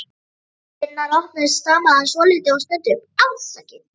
Þegar dyrnar opnuðust stamaði hann svolítið og stundi upp: Afsakið